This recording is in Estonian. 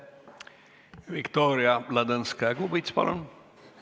Viktoria Ladõnskaja-Kubits, palun!